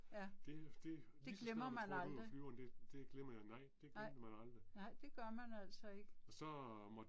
Ja. Det glemmer man aldrig. Nej, nej det gør man altså ikke